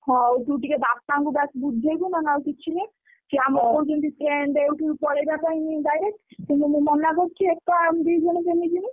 ହଉ ତୁ ଟିକେ ବାପାଙ୍କୁ ଡ଼ା ବୁଝେଇବୁ ନହେଲେ ଆଉ କିଛି ନାହିଁ। ସିଏ ଆମୁକୁ କହୁଛନ୍ତି train ରେ ଉଠି ପଳେଇବା ପାଇଁ direct କିନ୍ତୁ ମୁଁ ମନା କରୁଛି ଏକା ଆମେ ଦି ଜଣ କେମିତି ଯିବୁ?